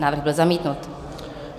Návrh byl zamítnut.